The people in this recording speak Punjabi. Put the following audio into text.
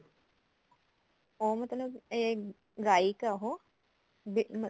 ਉਹ ਮਤਲਬ ਇਹ ਗਾਇਕ ਏ ਉਹ ਅਹ